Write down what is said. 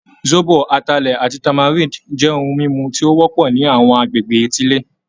Zobo, Atalẹ, ati tamarind jẹ ohun mímu ti o wọ́pọ̀ ni àwọn àgbègbè etile